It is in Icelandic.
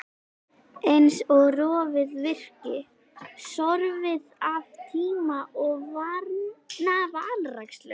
Eins og rofið virki, sorfið af tíma og vanrækslu.